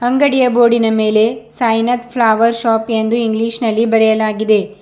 ಅಂಗಡಿಯ ಬೋರ್ಡಿನ ಮೇಲೆ ಸಾಯಿನಾಥ್ ಫ್ಲವರ್ ಶಾಪ್ ಎಂದು ಇಂಗ್ಲಿಷ್ ನಲ್ಲಿ ಬರೆಯಲಾಗಿದೆ.